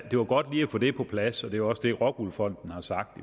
det var godt lige at få det på plads det er jo også det rockwool fonden har sagt